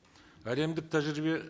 әлемдік тәжірибе